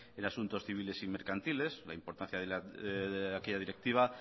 en asuntos civiles y mercantiles la importancia de aquella directiva